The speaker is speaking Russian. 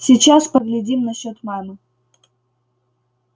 сейчас поглядим насчёт мамы